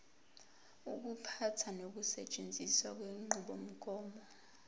ukuphatha nokusetshenziswa kwenqubomgomo